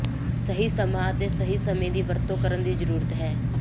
ਸਹੀ ਸਮਾਂ ਅਤੇ ਸਮੇਂ ਦੀ ਵਰਤੋਂ ਕਰਨ ਦੀ ਜ਼ਰੂਰਤ ਹੈ